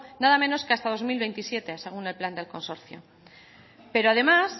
nada menos que hasta dos mil veintisiete según el plan del consorcio pero además